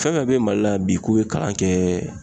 Fɛn fɛn bɛ mali la bi k'u ye kalan kɛɛɛ